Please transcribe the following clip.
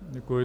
Děkuji.